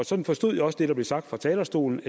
sådan forstod jeg også det der blev sagt fra talerstolen